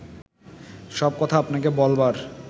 সব কথা আপনাকে বলবার